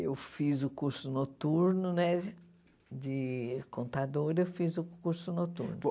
Eu fiz o curso noturno né, de contadora, fiz o curso noturno.